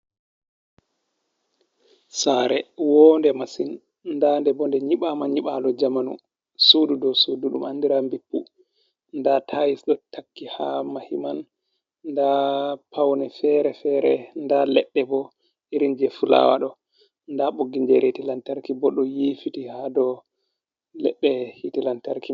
Sare wonde masin ndade bo nde nyibama nyiɓalo jamanu sudu do sudu, ɗum andira bippu. nda tayis ɗo takki ha mahiman, nda paune fere-fere nda leɗɗe bo irin je fulawaɗo, nda ɓoggi je hite lantarki bo ɗo nyifiti ha do leɗɗe hitelantarki.